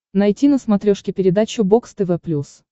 найти на смотрешке передачу бокс тв плюс